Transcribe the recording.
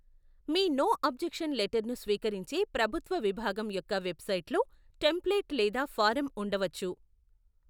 మీ no objection లెటర్ను స్వీకరించే ప్రభుత్వ విభాగం యొక్క వెబ్సైట్లో టెంప్లేట్ లేదా ఫారం ఉండవచ్చు.